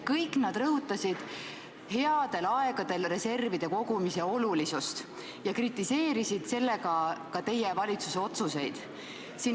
Kõik nad rõhutasid headel aegadel reservide kogumise tähtsust ja kritiseerisid sellega ka teie valitsuse otsuseid.